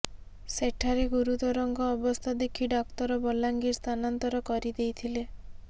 ସେଠାରେ ଗୁରୁତରଙ୍କ ଅବସ୍ଥା ଦେଖି ଡାକ୍ତର ବଲାଙ୍ଗୀର ସ୍ଥାନାନ୍ତର କରି ଦେଇଥିଲେ